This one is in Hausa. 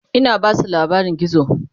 Ina Basu labarin gizo